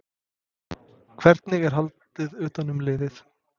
Hvernig er haldið utan um liðið?